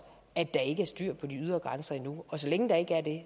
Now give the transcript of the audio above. at der ikke er styr på de ydre grænser endnu og så længe der ikke er det